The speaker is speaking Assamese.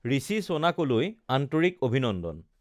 ঋষি ছোনাকলৈ আন্তৰিক অভিনন্দন!